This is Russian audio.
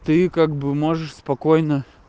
ты как бы можешь спокойно